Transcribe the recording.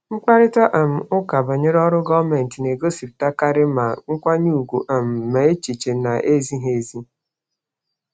Mkparịta um ụka banyere ọrụ gọọmentị na-egosipụtakarị ma nkwanye ùgwù um ma echiche na-ezighị ezi.